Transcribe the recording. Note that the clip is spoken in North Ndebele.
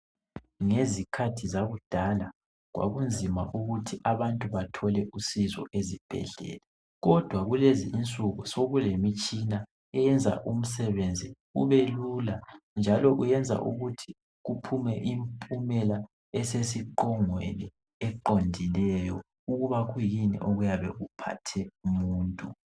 Ngezikhathi zakudala kwakunzima ukuthi abantu bathole usizo ezibhedlela kodwa kulezi insuku sokulemitshina eyenza umsebenzi ubelula njalo uyenza ukuthi kuphume impumela esesiqongweni eqondileyo ukuba kuyini okuyabe kuphathe umuntu.